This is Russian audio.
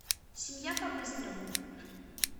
семья по быстрому